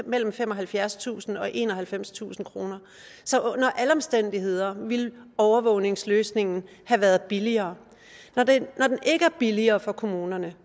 mellem femoghalvfjerdstusind kroner og enoghalvfemstusind kroner så under alle omstændigheder ville overvågningsløsningen have været billigere når den ikke er billigere for kommunerne